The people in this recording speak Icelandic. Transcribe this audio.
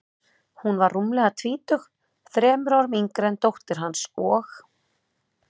Hún var rúmlega tvítug, þremur árum yngri en dóttir hans, og